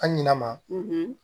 An ɲina ma